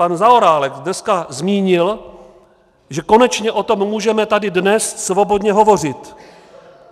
Pan Zaorálek dneska zmínil, že konečně o tom můžeme tady dnes svobodně hovořit.